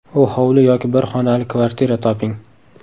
U hovli yoki bir xonali kvartira toping.